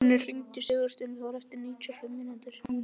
Arnfinnur, hringdu í Sigursteindór eftir níutíu og fimm mínútur.